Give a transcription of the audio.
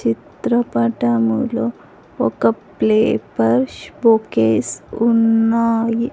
చిత్రపటములో ఒక flowers bouquets ఉన్నాయి.